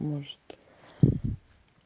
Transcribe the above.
может